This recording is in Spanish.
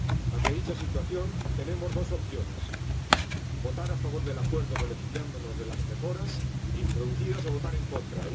Ante dicha situación, tenemos dos opciones votar a favor del Acuerdo, beneficiándonos de las mejoras introducidas, o votar en contra